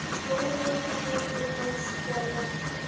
Jórunn orðin hans kona.